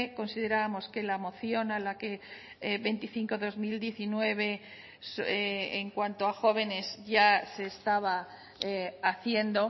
considerábamos que la moción a la que veinticinco barra dos mil diecinueve en cuanto a jóvenes ya se estaba haciendo